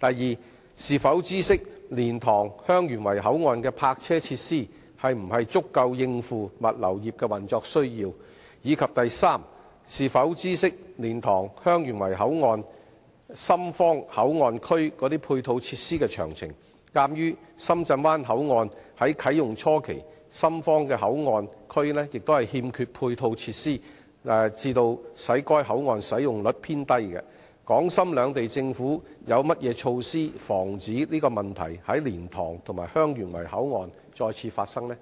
二是否知悉，蓮塘/香園圍口岸的泊車設施會否足以應付物流業的運作需要；及三是否知悉，蓮塘/香園圍口岸深方口岸區的配套設施的詳情；鑒於深圳灣口岸在啟用初期，深方口岸區欠缺配套設施致使該口岸使用率偏低，港深兩地政府有何措施防止該問題在蓮塘/香園圍口岸發生？